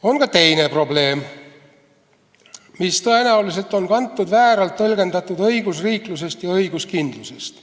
On ka teine probleem, mis tõenäoliselt on kantud vääralt tõlgendatud õigusriiklusest ja õiguskindlusest.